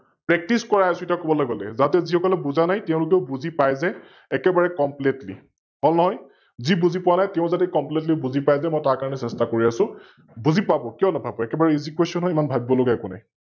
Practice কৰাই আছো এতিয়াও কবলৈ গলে, যাতে যি সকলে বুজা নাই তেওলোকও বুজি পাই যে একেবাৰে Completly হল নহয়? যি বুজি পোৱা নাই তেও যে Completly বুজি পায় যে মই তাৰ কাৰনে চেস্থা কৰি আছো, বুজি পাব, কিও নেপাব? একেবাৰে EsayQuestion হয়, ইমান ভাৱিব লগিয়া একো নাই ।